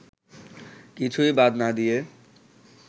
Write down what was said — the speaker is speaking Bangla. কিছুই বাদ না দিয়ে